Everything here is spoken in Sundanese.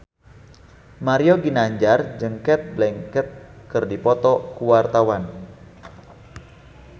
Mario Ginanjar jeung Cate Blanchett keur dipoto ku wartawan